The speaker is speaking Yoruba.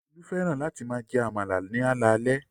Olú fẹ́ràn láti máa jẹ àmàlà ní alaalẹ́